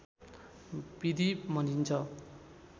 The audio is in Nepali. विधि भनिन्छ